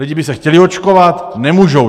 Lidi by se chtěli očkovat, nemůžou.